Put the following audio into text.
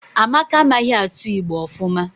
Amaka amaghi asu igbo ofuma